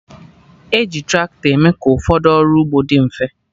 Eji tractọ eme ka ụfọdụ ọrụ ugbo dị mfe